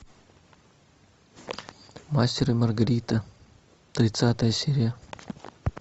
мастер и маргарита тридцатая серия